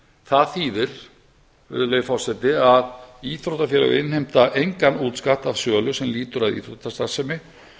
það þýðir að íþróttafélög innheimta engan útskatt sem lýtur að íþróttastarfsemi